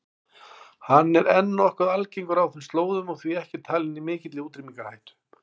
Hann er enn nokkuð algengur á þeim slóðum og því ekki talinn í mikilli útrýmingarhættu.